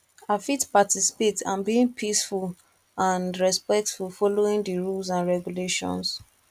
i fit participate and being peaceful and respectful following di rules and regulations